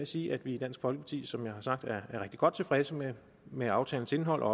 sige at vi i dansk folkeparti som jeg har sagt er godt tilfredse med med aftalens indhold og